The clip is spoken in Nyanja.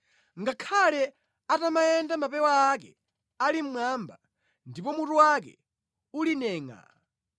Ngakhale atamayenda mapewa ake ali mmwamba ndipo mutu wake uli nengʼaa,